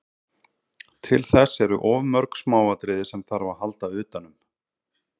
Til þess eru of mörg smáatriði sem þarf að halda utanum.